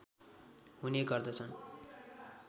हुने गर्दछन्